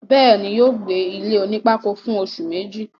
bẹ́ẹ̀ni, yóò gbé ilé onípákó fún oṣù Méjì